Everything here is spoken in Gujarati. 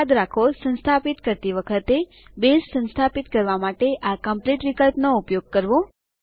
યાદ રાખો સંસ્થાપિત કરતી વખતે બેઝ સંસ્થાપિત કરવા માટે આ કોમ્પ્લીટ વિકલ્પ નો ઉપયોગ કરવો